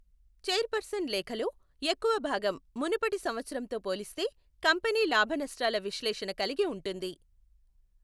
Chairperson లేఖలో ఎక్కువ భాగం మునుపటి సంవత్సరంతో పోలిస్తే కంపెనీ లాభ నష్టాల విశ్లేషణ కలిగి ఉంటుంది.